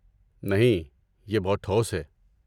نہیں، یہ بہت ٹھوس ہے۔